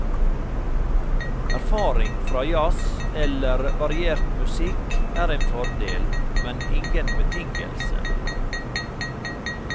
Erfaring fra jazz, eller variert musikk er en fordel, men ingen betingelse.